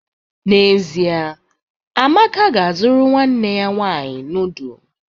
N'ezie, Amaka ga-azụrụ nwanne ya nwanyị noodu.